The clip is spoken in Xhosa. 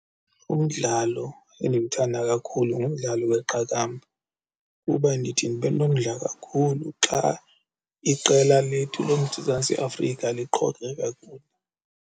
Umdlalo endimthanda kakhulu ngumdlalo weqakamba kuba ndithi ndibe nomdla kakhulu xa iqela lethu loMzantsi Afrika liqhokre kakhulu.